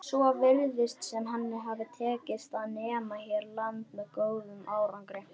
Að endingu má segja að hið fornkveðna gildi, veldur sá sem á heldur